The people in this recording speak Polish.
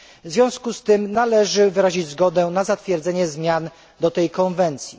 W związku z tym należy wyrazić zgodę na zatwierdzenie zmian do tej konwencji.